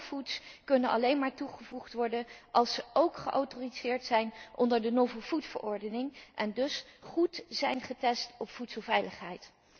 Novel foods kunnen alleen maar toegevoegd worden als ze ook geautoriseerd zijn onder de Novel Food verordening en dus goed zijn getest op voedselveiligheid.